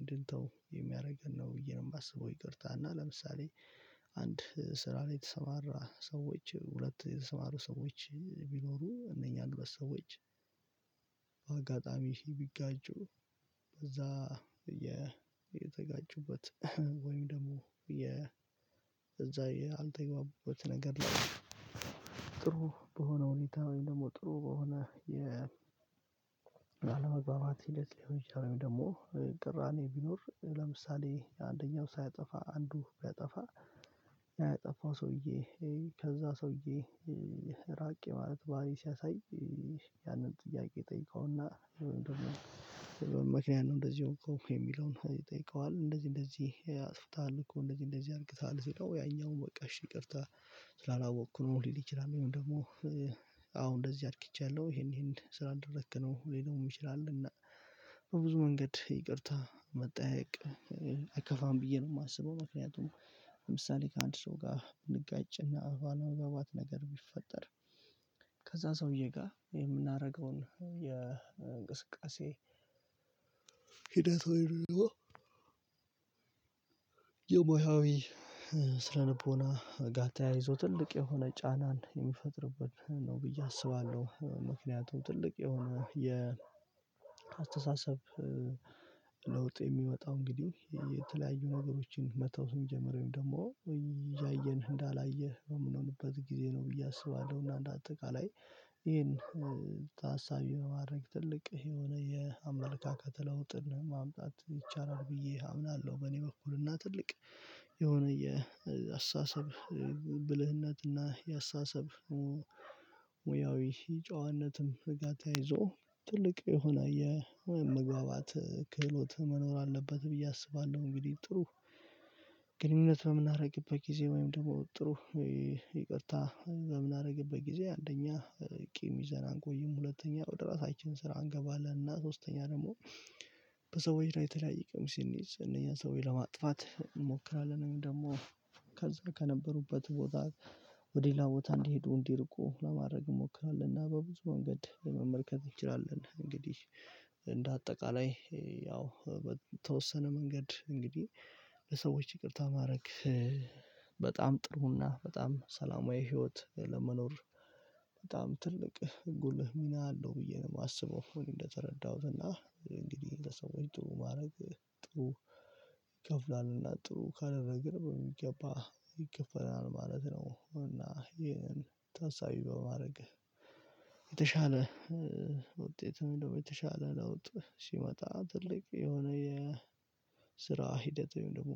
እንድንተው የሚያደርገን ነው ብዬ ነው የማስበው። ይቅርታ እና ለምሳሌ አንድ ስራ ላይ የተሰማራ ሰዎች ሁለት የተሰማሩ ሰዎች ቢኖሩ እነኛ ግለሰቦች። በአጋጣሚ ቢጋጩ በዛ የተጋጩበት ወይም ደግሞ የ እዛ ያልተግባቡት ነገር ላይ ጥሩ በሆነ ሁኔታ ወይም ደግሞ ጥሩ በሆነ የ አለመግባባት ሂደት ሊሆን ይችላል። ወይም ደግሞ ቅራኔ ቢኖር ለምሳሌ አንደኛው ሳያጠፋ አንዱ ቢያጠፋ ያጠፋው ሰውዬ ከዛ ሰውዬ ራቅ የማለት ባህሪ ሲያሳይ ያንን ጥያቄ ጠይቀውና ምክንያቱም እንደዚህ የሚለውን ይጠይቀዋል እንደዚህ እንደዚህ ያጽፍታል እኮ እንደዚህ እንደዚህ አድርግተሃል ሲል ያኛውን በቃ ሽቅርታ ስላላወቅኩ ነው ሊል ይችላል። ደግሞ አሁን እንደዚህ አድርጌለሁ ይሄን ይሄን ስላልደረኩ ነው ሊለውም ይችላል። እና በብዙ መንገድ ይቅርታ መጠየቅ አይከፋም ብዬ ነው የማስበው ምክንያቱም ለምሳሌ ከአንድ ሰው ጋር እንጋጭና አለመግባባት ነገር ቢፈጠር ከዛ ሰውዬ ጋር የምናደርገውን የእንቅስቃሴ ሂደት ወይንም የሙያዊ ስረነቦና ጋር ተያይዞ ትልቅ የሆነ ጫናን የሚፈጥርበት ነው ብዬ አስባለሁ። ምክንያቱም ትልቅ የሆነ የአስተሳሰብ ለውጥ የሚመጣው እንግዲህ የተለያዩ ነገሮችን መተውስን ጀመረኝ ደግሞ እያየን እያየን የምንሆንበት ጊዜ ነው ብዬ አስባለሁ። እና እንደ አጠቃላይ ይሄን ታሳቢ ማድረግ ትልቅ የሆነ የአመለካከት ለውጥን ማምጣት ይቻላል ብዬ አምናለሁ። በእኔ በኩልና ትልቅ የሆነ የአስተሳሰብ ብልህነትና የአስተሳሰብ ሙያዊ ጨዋነትም ስጋታ ይዞ ትልቅ የሆነ የመግባባት ክህሎት መኖር አለበት ብዬ አስባለሁ። እንግዲህ ጥሩ ግንኙነት በምናደርግበት ጊዜ ወይም ደግሞ ጥሩ ይቅርታ በምናደርግበት ጊዜ አንደኛ ቂም ይዘን አንቆይም ሁለተኛ ወደ ራሳችን ስራ እንገባለን እና ሶስተኛ ደግሞ በሰዎች ላይ የተለያየ ቂም ስንይዝ የነኛ ሰዎችን ለማጥፋት እንሞክራለን ደግሞ ከዛ ከነበሩበት ቦታ ወደ ሌላ ቦታ እንዲሄዱ እንዲርቁ ለማድረግ እንሞክራለን። እና በብዙ ወንገድ መመልከት እንችላለን እንግዲህ እንደ አጠቃላይ ያው በተወሰነ መንገድ እንግዲህ በሰዎች ይቅርታ ማድረግ በጣም ጥሩና በጣም ሰላማዊ ህይወት ለመኖር በጣም ትልቅ ጉልህ ሚና አለው ብዬ ነው የማስበው። ምን እንደተረዳሁት እና እንግዲህ ለሰዎች ጥሩ ማድረግ ጥሩ ይከፍላል እና ጥሩ ካደረገ በሚገባ ይከፈላል ማለት ነው። እና ይሄን ታሳቢ በማድረግ የተሻለ ውጤት ደግሞ የተሻለ ለውጥ ሲመጣ ትልቅ የሆነ የስራ ሂደት ወይም ደግሞ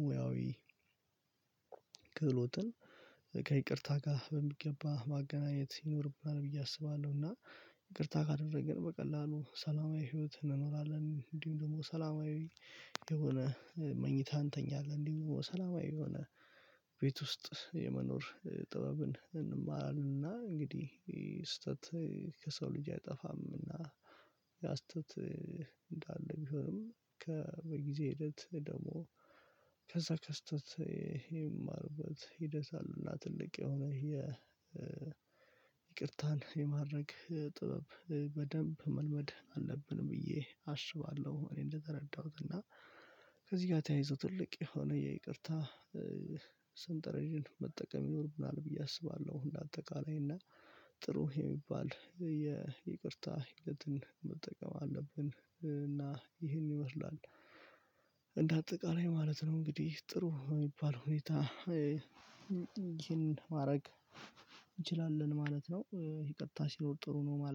ሙያዊ ክህሎትን ከይቅርታ ጋር በሚገባ ማገናኘት ይኖርብናል ብዬ አስባለሁ። እና ይቅርታ ካደረገን በቀላሉ ሰላማዊ ህይወት እንኖራለን እንዲሁም ደግሞ ሰላማዊ የሆነ መኝታን ተኛለህ እንዲሁ ሰላማዊ የሆነ ቤት ውስጥ የመኖር ጥበብን እንማራለን። እና እንግዲህ ስህተት ከሰው ልጅ አይጠፋምና ያ ስህተት እንዳለ ቢሆንም ከበጊዜ ሂደት ደግሞ ከዛ ከስተት የሚማርበት ይደሳሉና ትልቅ የሆነ የ ይቅርታን የማድረግ ጥበብ በደንብ መልመድ አለብን ብዬ አሽባለሁ። እኔ እንደተረዳሁት እና ከዚህ ጋር ተያይዞ ትልቅ የሆነ ይቅርታ ሰጠረዥን መጠቀም ይኖርብናል ብዬ አስባለሁ። እና አጠቃላይ እና ጥሩ የሚባል የይቅርታ ህይወትን መጠቀም አለብን እና ይሄን ይመስላል እንደ አጠቃላይ ማለት ነው እንግዲህ ጥሩ የሚባል ሁኔታ ማድረግ እንችላለን ማለት ነው። ይቅርታ ሲኖር ጥሩ ነው